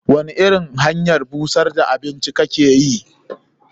Wani irin hanyar busar da abinci kake yi?